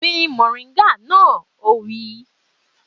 Gbin mọ̀ríńgà náà! Ó wí.